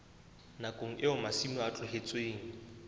nakong eo masimo a tlohetsweng